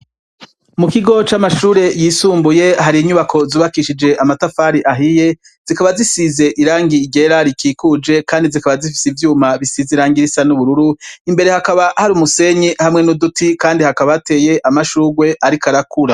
Mukigo c'amashure yisumbuye hari inyubako zubakishije amatafari ahiye zikaba zisize irangi ryera rikikuje kandi zikaba zifise ivyuma bisize irangi risa n'ubururu, imbere hakaba hari umusenyi hamwe n'uduti kandi hakaba hateye amashurwe ariko arakura.